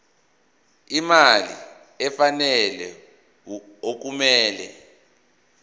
imali efanele okumele